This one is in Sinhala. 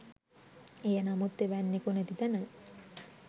එය නමුත් එවැන්නෙකු නැති තැන